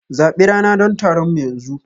Zabi rana don taronmu yanzu!